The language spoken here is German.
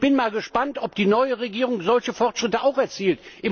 Und ich bin mal gespannt, ob die neue Regierung solche Fortschritte auch erzielt.